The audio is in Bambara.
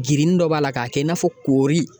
Girinni dɔ b'a la k'a kɛ i n'a fɔ koori.